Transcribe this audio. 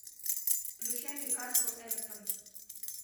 включай ньюкасл эвертон